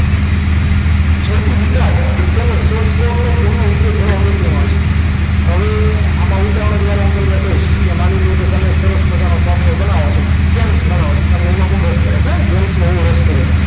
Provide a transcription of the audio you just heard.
જેવી ઉપયોગ તેઓ source course નો ઉપયોગ કરવા પ્રત્યય છે હવે આમાં મુદ્દાઓ દ્વારા હું તમને કહીશ કે માની લો કે તમે એક સરસ મજાનું software બનાવો છો games માં બનાવો છો તમને એમાં બહુ રસ પડે છે હે ના games માં બહુ રસ પડે છે